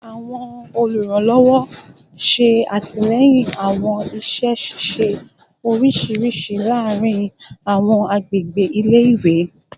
Awọn oluranlọwọ ṣe atilẹyin awọn iṣẹ ṣiṣe oriṣiriṣi laarin awọn agbegbe ile-iwe